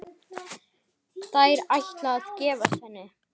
Ætlarðu að giftast henni?